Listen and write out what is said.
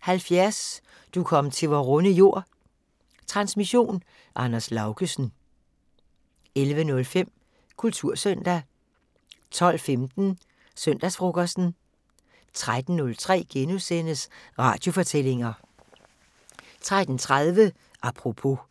70: "Du kom til vor runde jord". Transmission: Anders Laugesen. 11:05: Kultursøndag 12:15: Søndagsfrokosten 13:03: Radiofortællinger * 13:30: Apropos *